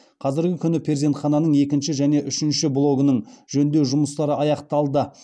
қазіргі күні перзентхананың екінші және үшінші блогының жөндеу жұмыстары аяқталды